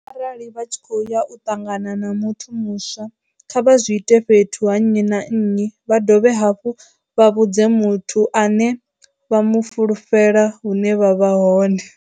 Arali vha tshi khou ya u ṱangana na muthu muswa, kha vha zwi ite fhethu ha nnyi na nnyi vha dovhe hafhu vha vhudze muthu ane vha mu fulufhela hune vha vha hone.